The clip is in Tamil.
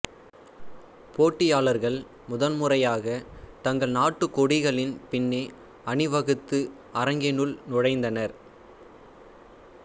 போட்டியாளர்கள் முதன்முறையாக தங்கள் நாட்டுக்கொடிகளின் பின்னே அணிவகுத்து அரங்கினுள் நுழைந்தனர்